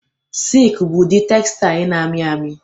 Silk bụ ụdị textle na-amị amị